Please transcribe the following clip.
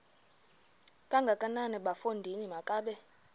kangakanana bafondini makabe